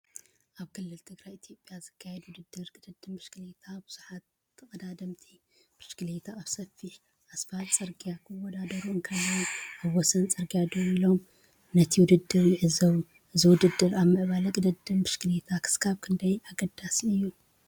ኣብ ክልል ትግራይ ኢትዮጵያ ዝካየድ ውድድር ቅድድም ብሽክለታ፣ ብዙሓት ተቐዳደምቲ ብሽክለታ ኣብ ሰፊሕ ኣስፋልት ጽርግያ ክወዳደሩ እንከለዉ፡ ኣብ ወሰን ጽርግያ ደው ኢሎም ነቲ ውድድር ይዕዘቡ። እዚ ውድድር ኣብ ምዕባለ ቅድድም ብሽክለታ ክሳብ ክንደይ ኣገዳሲ እዩ?